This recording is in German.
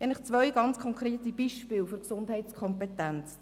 Ich nenne Ihnen zwei konkrete Beispiele für die Gesundheitskompetenz.